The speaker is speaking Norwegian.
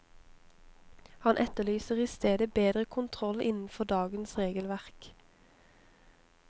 Han etterlyser i stedet bedre kontroll innenfor dagens regelverk.